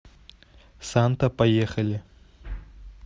санта поехали